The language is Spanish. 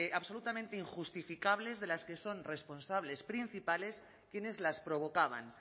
absolutamente injustificables de las que son responsables principales quienes las provocaban